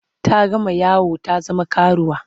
Ta gama yawo ta zama karuwa.